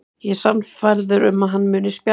Ég er sannfærður um að hann muni spjara sig.